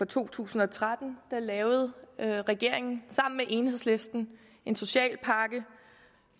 to tusind og tretten lavede regeringen sammen med enhedslisten en social pakke